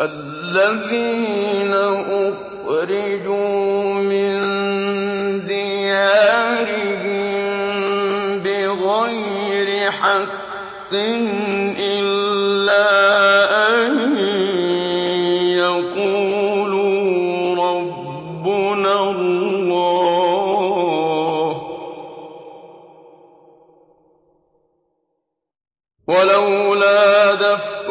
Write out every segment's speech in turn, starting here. الَّذِينَ أُخْرِجُوا مِن دِيَارِهِم بِغَيْرِ حَقٍّ إِلَّا أَن يَقُولُوا رَبُّنَا اللَّهُ ۗ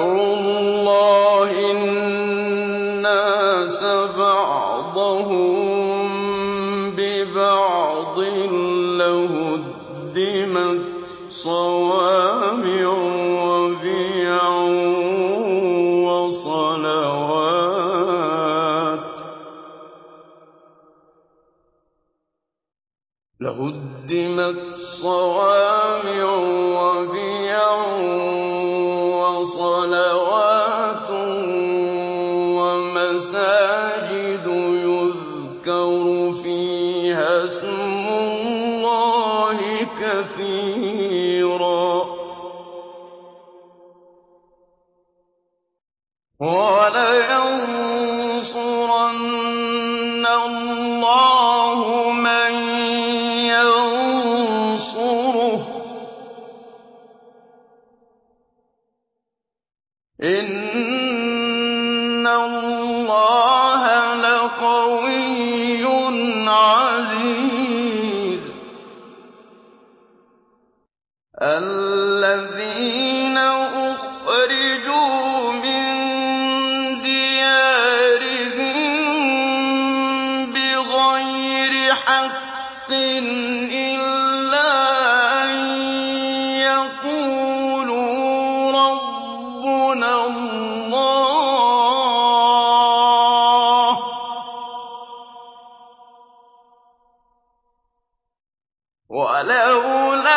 وَلَوْلَا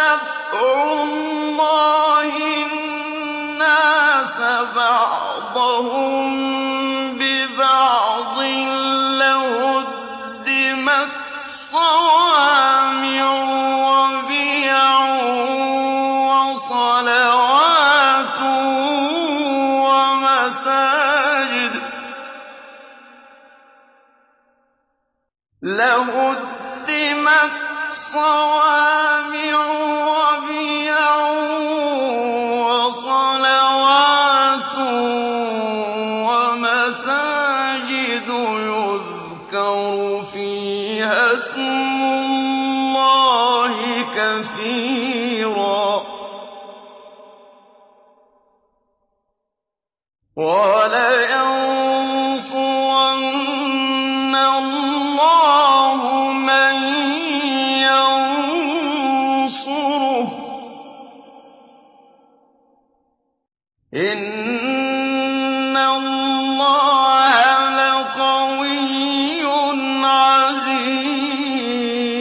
دَفْعُ اللَّهِ النَّاسَ بَعْضَهُم بِبَعْضٍ لَّهُدِّمَتْ صَوَامِعُ وَبِيَعٌ وَصَلَوَاتٌ وَمَسَاجِدُ يُذْكَرُ فِيهَا اسْمُ اللَّهِ كَثِيرًا ۗ وَلَيَنصُرَنَّ اللَّهُ مَن يَنصُرُهُ ۗ إِنَّ اللَّهَ لَقَوِيٌّ عَزِيزٌ